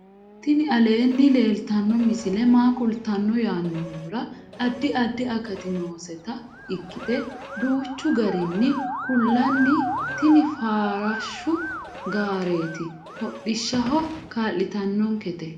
tini aleenni leeltanno misi maa kultanno yaannohura addi addi akati nooseta ikkite duuchchu garinni kullanni tini farashshu gaareeti hodhishshaho kaa'litannokete